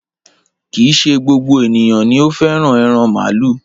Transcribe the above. Kìí ṣe gbogbo ènìyàn ni o fẹ́ràn ẹran màálù.